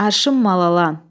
Arşın mal alan.